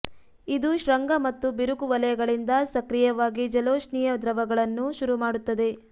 ಇದು ಶೃಂಗ ಮತ್ತು ಬಿರುಕು ವಲಯಗಳಿಂದ ಸಕ್ರಿಯವಾಗಿ ಜಲೋಷ್ಣೀಯ ದ್ರವಗಳನ್ನು ಶುರುಮಾಡುತ್ತದೆ